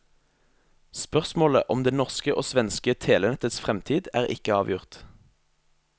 Spørsmålet om det norske og svenske telenetts fremtid er ikke avgjort.